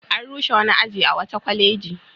An rushe wani aji a wata kwaleji.